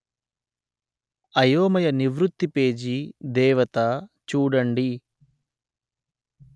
అయోమయ నివృత్తి పేజీ దేవత చూడండి